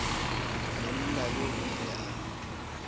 monna yoo o ile a